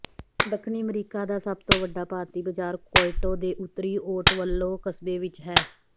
ਦੱਖਣੀ ਅਮਰੀਕਾ ਦਾ ਸਭ ਤੋਂ ਵੱਡਾ ਭਾਰਤੀ ਬਾਜ਼ਾਰ ਕੁਇਟੋ ਦੇ ਉੱਤਰੀ ਓਟਵਲੋ ਕਸਬੇ ਵਿੱਚ ਹੈ